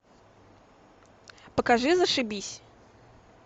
покажи зашибись